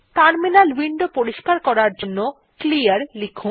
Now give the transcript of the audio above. terminal window পরিস্কার করার জন্য ক্লিয়ার লিখুন